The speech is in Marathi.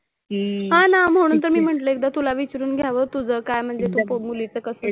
हां ना म्हणून तर मी म्हंटलं एकदा तुला विचारून घ्यावं तुझं काय म्हणजे तू बाबुलीचं कसं,